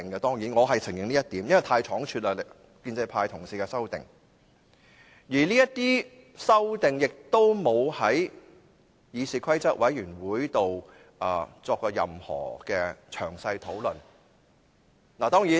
當然，我是承認這一點的，因為建制派同事的修正案是倉卒提出，而這些修正案亦沒有在議事規則委員會會議中作任何詳細討論。